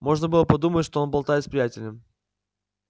можно было подумать что он болтает с приятелем